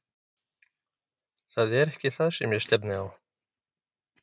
Það er ekki það sem ég stefni á.